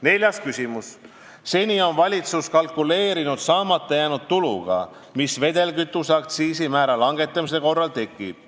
Neljas küsimus: "Seni on valitsus kalkuleerinud saamata jäänud tuluga, mis vedelkütuse aktsiisi määra langetamise korral tekib.